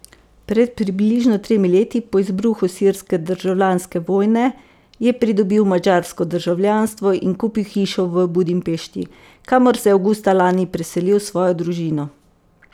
Pred približno tremi leti, po izbruhu sirske državljanske vojne, je pridobil madžarsko državljanstvo in kupil hišo v Budimpešti, kamor se je avgusta lani preselil s svojo družino.